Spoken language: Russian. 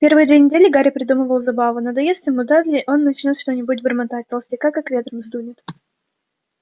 первые две недели гарри придумывал забаву надоест ему дадли он и начнёт что-нибудь бормотать толстяка как ветром сдунет